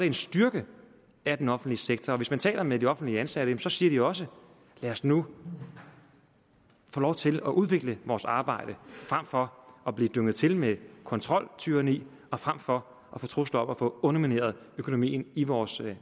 en styrkelse af den offentlige sektor og hvis man taler med de offentligt ansatte siger de også lad os nu få lov til at udvikle vores arbejde frem for at blive dynget til med kontroltyranni og frem for at få trusler om at få undermineret økonomien i vores